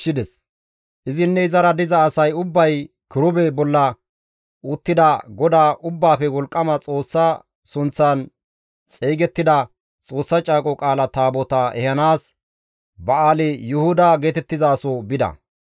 Izinne izara diza asay ubbay kirube bolla uttida GODAA Ubbaafe Wolqqama Xoossa sunththan xeygettida Xoossa Caaqo Qaala Taabotaa ehanaas Ba7aali-Yuhuda geetettizaso bida.